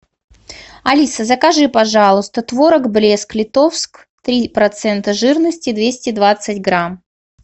алиса закажи пожалуйста творог блеск литовск три процента жирности двести двадцать грамм